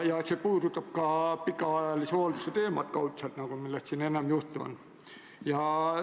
See puudutab kaudselt ka pikaajalise hoolduse teemat, millest siin enne juttu oli.